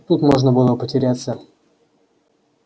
тут можно было потеряться